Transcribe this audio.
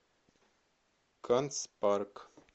канцпарк